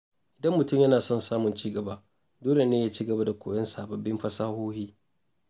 Idan mutum yana son samun ci gaba, dole ne ya ci gaba da koyon sababbin fasahohi.